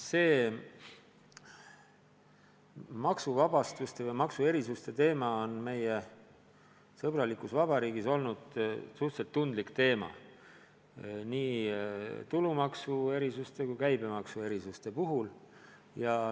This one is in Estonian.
Niisuguste maksuvabastuste ja maksuerisuste teema on meie sõbralikus vabariigis olnud suhteliselt tundlik teema.